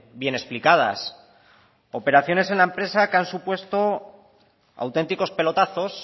bien explicadas operaciones en la empresa que han supuesto auténticos pelotazos